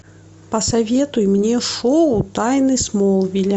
посоветуй мне шоу тайны смолвиля